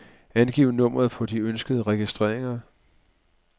Angiv nummeret på de ønskede registreringer.